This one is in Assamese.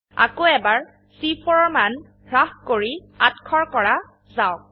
আকৌ এবাৰ চি4 এৰ মান হ্ৰাস কৰি ৮০০ কৰা যাওক